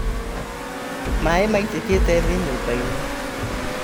Maĩ maitĩkĩte thĩ nyũmbainĩ